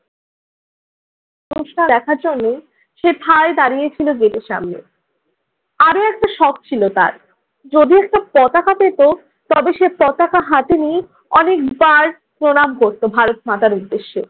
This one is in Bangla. অনুষ্ঠান দেখার জন্য সে ঠায় দাঁড়িয়েছিল গেটের সামনে। আরো একটা শখ ছিল তার। যদি একটা পতাকা পেত তবে সে পতাকা হাতে নিয়ে অনেকবার প্রণাম করতো ভারত মাতার উদ্দেশ্যে।